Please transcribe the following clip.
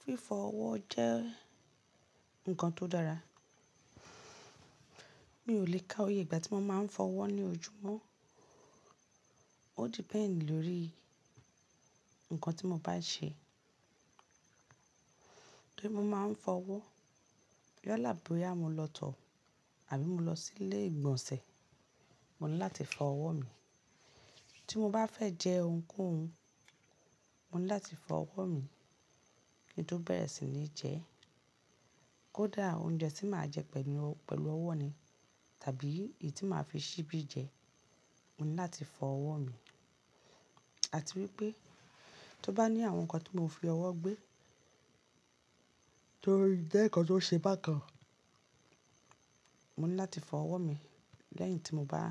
Fífọ ọwọ jẹ nkan to dara. Mi ò lè ka oyè ìgbà tí mo máa ń fọ ọwọ́ ní ojúmọ́. Ó depend lórí ǹkan tí mo bá ṣe. Bí mo bá ń fọ ọwọ́, bí ó là bóyá mo lọ tọ̀ àbí mo lọ sí ilé ìgbọ̀nsẹ̀, mo ní láti fọ ọwọ́ mi. Tí mo bá fẹ́ jẹ ohunkóhun, mo ní láti fọ ọwọ́ mi kí n tó bẹ̀rẹ̀ sí ní jẹ ẹ́. Kódà oúnjẹ tí màá jẹ pẹ̀lú ọwọ́ ni tàbí èyí tí màá fi ṣíbí jẹ, mo ní láti fọ ọwọ́ mi. Àti wípé tó bá ní àwọn ǹkan tí mò ń fi ọwọ́ gbé tó jẹ́ ǹkan tó ṣe bákan, mo ní láti fọ ọwọ́ mi lẹ́yìn tí mo bá